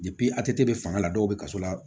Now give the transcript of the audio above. a tɛ bɛ fanga la dɔw bɛ kaso la